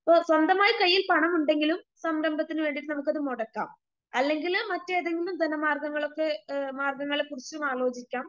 ഇപ്പോ സ്വന്തമായി കൈയിൽ പണമുണ്ടെങ്കിലും സംരംഭത്തിന് വേണ്ടിട്ടത് നമുക്കത് മുടക്കാം അല്ലെങ്കില് മറ്റേതെങ്കിലും ധന മാർഗ്ഗങ്ങൾളൊക്കെ മാർഗ്ഗങ്ങളെക്കുറിച്ചുമാലോചിക്കാം